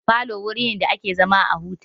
Falo wuri ne da ake zama a huta.